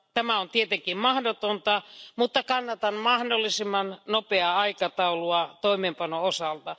Tämä on tietenkin mahdotonta, mutta kannatan mahdollisimman nopeaa aikataulua toimeenpanon osalta.